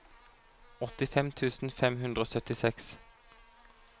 åttifem tusen fem hundre og syttiseks